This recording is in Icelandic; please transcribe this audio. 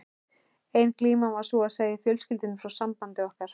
Ein glíman var sú að segja fjölskyldunni frá sambandi okkar.